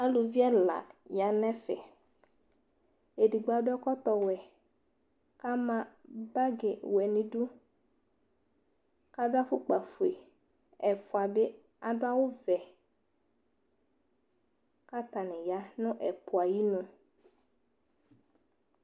Alʋvi ɛla yanʋ ɛfɛ Edigbo adʋ ɛkɔtɔ wɛ, kama bagi wɛ nidu, kadʋ afʋkpa fue Ɛfua bi adʋ awʋ vɛ, katani ya nʋ ɛpʋ ayinu